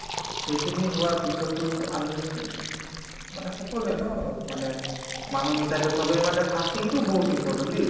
সেইখিনি হোৱাৰ পিছতো আমি মানে সকলোয়ে ন মানে মানুহ হিচাপে চবে মানে fasting তো বহুত important দেই